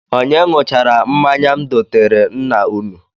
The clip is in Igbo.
Onye ṅụchara mmanya m doteere nna unu?